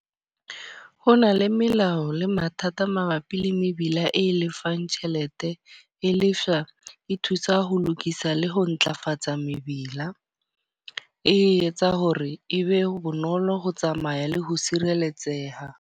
Ho na le melao le mathata mabapi le mebila e lefang tjhelete. E leshwa, e thusa ho lokisa le ho ntlafatsa mebila. E etsa hore ebe bonolo ho tsamaya le ho sireletseha.